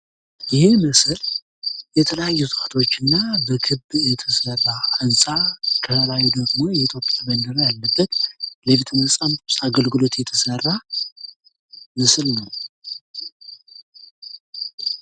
ይህ ምስል የተለያዩ እጽዋቶች እና በክብ የተሰራ ህንፃ ከላይ ደግሞ የኢትዮጵያ ባንዲራ ያለበት ለቤተ መጻፍት አገልግሎት የተሰራ ምስል ነው።